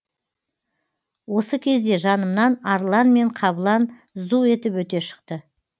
осы кезде жанымнан арлан мен қабылан зу етіп өте шықты